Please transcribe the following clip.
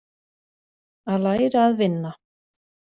Að læra að vinna